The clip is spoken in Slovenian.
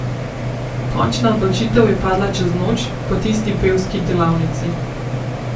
Končna odločitev je padla čez noč, po tisti pevski delavnici.